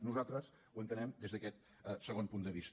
nosaltres ho entenem des d’aquest segon punt de vista